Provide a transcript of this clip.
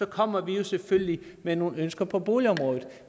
kommer vi selvfølgelig med nogle ønsker på boligområdet